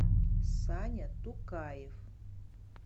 саня тукаев